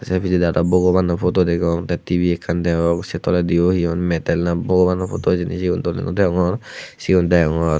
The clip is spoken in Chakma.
sey pijedi aro bogobano photo degong tey tibi ekkan degong sei tolediyo he hon metal na bogobano photo hijeni sigun doley naw degongor sigun degongor.